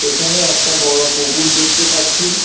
এখানে একটা বড়ো পুকুর দেখতে পাচ্ছি।